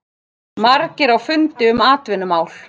Margir á fundi um atvinnumál